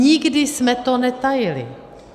Nikdy jsme to netajili.